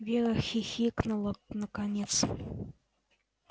вера хихикнула наконец